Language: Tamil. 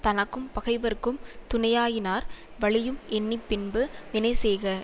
தனக்கும் பகைவர்க்கும் துணையாயினார் வலியும் எண்ணி பின்பு வினைசெய்க